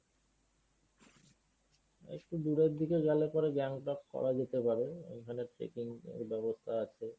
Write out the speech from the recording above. একটু দূরের দিকে গেলে পরে গ্যাংটক করা যেতে পারে। ঐখানে tracking এর ব্যবস্থা আছে।